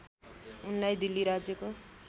उनलाई दिल्ली राज्यको